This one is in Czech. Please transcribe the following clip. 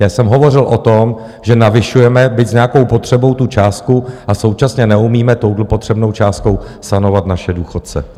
Já jsem hovořil o tom, že navyšujeme, byť s nějakou potřebou, tu částku, a současně neumíme touto potřebnou částkou sanovat naše důchodce.